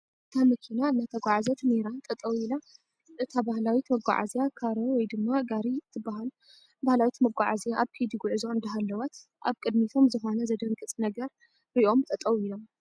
እታ መኪና እናተጓዐዘት ነይራ ጠጠው ኢላ እታ ባህለዊት መጓዓዝያ ካሮ ወይ ድማ ጋሪ እትበሃል ባህላዊት መጓዓዝያ ኣብ ከይዲ ጉዕዞ እንዳሃለወት ኣብ ቅድሚቶም ዝኾነ ዘድንግፅ ነገር ሪኦም ጠጠው ኢሎም፡፡